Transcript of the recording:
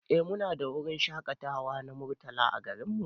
Eh Mu na da wurin shakatawa na Murtala a garin mu.